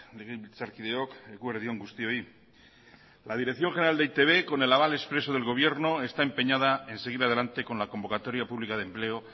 legebiltzarkideok eguerdi on guztioi la dirección general de e i te be con el aval expreso del gobierno está empeñada en seguir adelante con la convocatoria pública de empleo